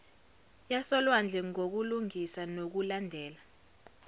yasolwandle ngukulungisa nokulandela